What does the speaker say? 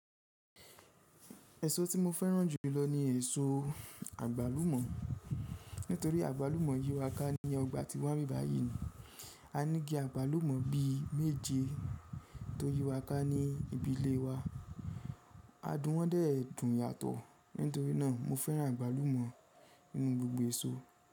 Ẹ̀ṣọ́ tí mo fẹ́ràn jù lọ ni ẹ̀ṣọ́ àgbálùmọ̀. Nítorí àgbálùmọ̀ yíwa ká ní ọgbà tí wa n báyìí ni. A ní igi àgbálùmọ̀ bí méje tó yíwa ká ní ibi ilé wa. A dùn wọ́n dè ẹ́ dùn yàtọ̀. Nítorí náà mo fẹ́ràn àgbálùmọ̀ nínú gbogbo ẹ̀ṣọ́.